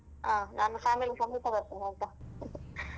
ಹಾ ನಾನ್ family ಸಮೇತ ಬರ್ತೇನೆ ಆಯ್ತಾ .